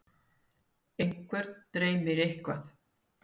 einhvern dreymir eitthvað